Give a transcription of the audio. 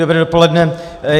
Dobré dopoledne.